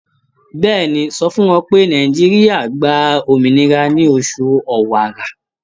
Bẹ́ẹ̀ni, sọ fún wọn pé Nàìjíríà gba òmìnira ní oṣù Ọ̀wàrà.